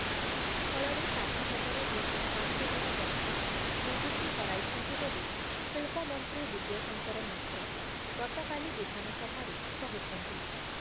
ଫଳରେ ସାତ ହଜାର ଦୁଇ ଶହ ପାଞ୍ଚ ଜଣ ବ୍ୟକ୍ତି ନିଯୁକ୍ତି ହରାଇଛନ୍ତି ବୋଲି ଶିଳ୍ପମନ୍ତ୍ରୀ ଦିବ୍ୟଶଙ୍କର ମିଶ୍ର ଗତକାଲି ବିଧାନସଭାରେ କହିଛନ୍ତି ।